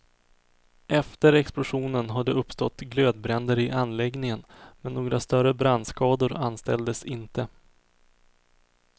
Efter explosionen har det uppstått glödbränder i anläggningen men några större brandskador anställdes inte.